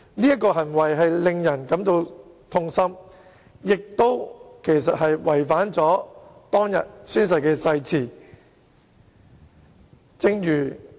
他的行為實在令人感到痛心，也違反當天宣誓的誓言。